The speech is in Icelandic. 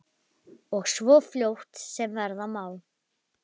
Og svo fljótt sem verða má.